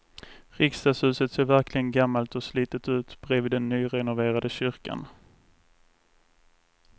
Riksdagshuset ser verkligen gammalt och slitet ut bredvid den nyrenoverade kyrkan.